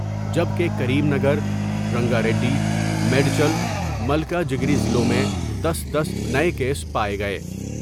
جبکہ Karimnagar, Rangareddy, Medchal Malkajgiri ضلعوں میں دس دس نئے کیس پاۓ گئے